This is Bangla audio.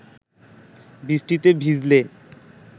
বৃষ্টিতে ভিজলে